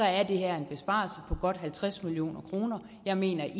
er det her en besparelse på godt halvtreds million kroner jeg mener ikke